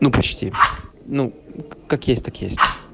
ну почти ну как есть так есть